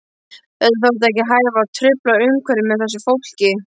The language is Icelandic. Það þótti ekki hæfa að trufla umhverfið með þessu fólki.